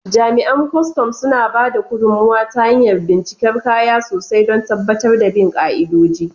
Jami'an kwastam suna ba da gudummawa ta hanyar bincikar kaya sosai don tabbatar da bin ka'idoji.